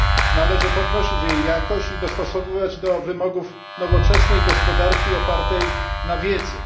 Należy podnosić jej jakość i dostosowywać do wymogów nowoczesnej gospodarki opartej na wiedzy.